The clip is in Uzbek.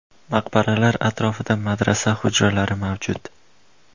Maqbaralar atrofida madrasa hujralari mavjud.